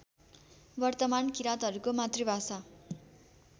वर्तमान किराँतहरूको मातृभाषा